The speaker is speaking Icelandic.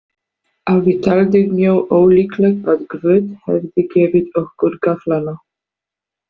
Afi taldi mjög ólíklegt að Guð hefði gefið okkur gafflana.